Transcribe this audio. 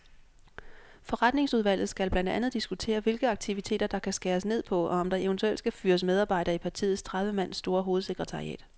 Forretningsudvalget skal blandt andet diskutere, hvilke aktiviteter der kan skæres ned på, og om der eventuelt skal fyres medarbejdere i partiets tredive mand store hovedsekretariat.